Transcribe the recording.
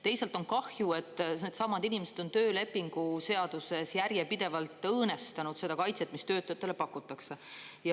Teisalt on kahju, et needsamad inimesed on töölepingu seaduses järjepidevalt õõnestanud seda kaitset, mida töötajatele pakutakse.